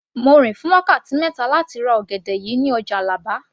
Mo rìn fún wákàtí mẹ́ta láti ra ọ̀gẹ̀dẹ̀ yìí ní ọjà Àlàbá